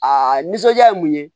A nisɔnja ye mun ye